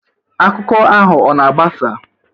Akụkọ ahụ ọ na-agbasa?